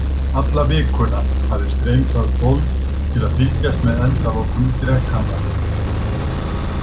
Alla vikuna hafði streymt að fólk til að fylgjast með endalokum drekanna.